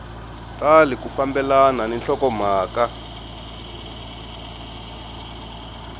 tali ku fambelana ni nhlokomhaka